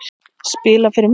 Spila fyrir mig?